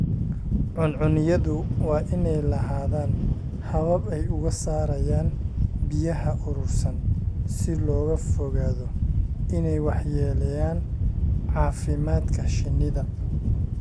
Cuncunyadu waa inay lahaadaan habab ay uga saarayaan biyaha urursan si looga fogaado inay waxyeeleeyaan caafimaadka shinnida.